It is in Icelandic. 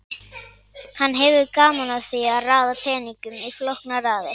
hann hefur gaman af því að raða peningum í flóknar raðir